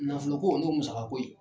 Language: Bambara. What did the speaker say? Nafolo ko n'o ye musaka ko ye